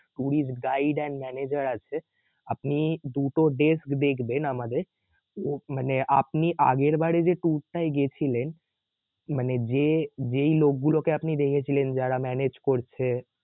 tourist guide and manager আছে আপনি দুটো desk দেখবেন আমাদের ত~মানে আপনি আগেরবারই যে tour টাই গেছিলেন মানে যেই লোক গুলোকে আপনি দেখেছিলেন যারা manage করছে